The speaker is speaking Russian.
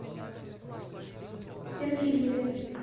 перфильеве